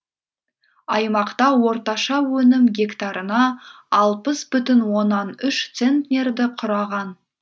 аймақта орташа өнім гектарына алпыс бүтін оннан үш центнерді құраған